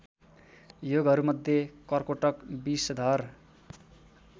योगहरूमध्ये कर्कोटक विषधर